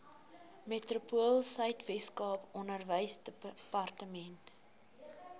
metropoolsuid weskaap onderwysdepartement